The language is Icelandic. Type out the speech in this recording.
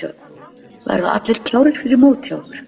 Verða allir klárir fyrir mót hjá ykkur?